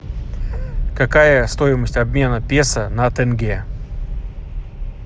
какая стоимость обмена песо на тенге